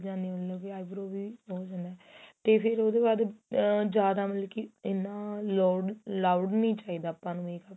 ਜਾਣੀ ਹੁੰਦੀ ਏ eyebrow ਵੀ ਤੇ ਫੇਰ ਉਹਦੇ ਬਾਅਦ ਆ ਜਿਆਦਾ ਮਤਲਬ ਕੀ ਇੰਨਾ loud loud ਨਹੀਂ ਚਾਹੀਦਾ ਆਪਾਂ ਨੂੰ makeup